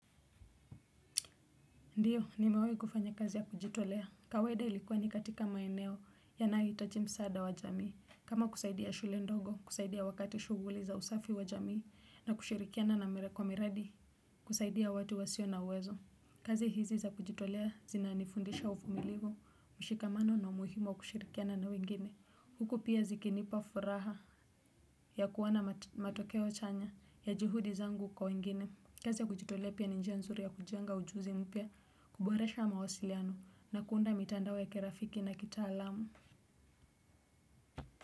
Ndiyo, nimewewe kufanya kazi ya kujitolea, kawaida ilikuwa ni katika maeneo ya nai itoji msada wa jamii. Kama kusaidia shule ndogo, kusaidia wakati shuguli za usafi wa jamii, na kushirikiana na merekwa miradi, kusaidia watu wa sio na uwezo. Kazi hizi za kujitolea zinaanifundisha ufumiligo, mshikamano na umuhimo kushirikiana na wengine. Huku pia zikinipa furaha ya kuwana matokewa chanya ya jihudi zangu kwa wengine. Kezi ya kujitolepia ninjia nzuri ya kujanga ujuzi mpia, kuboresha mawasiliano na kuunda mitandawe kerafiki na kita alamu.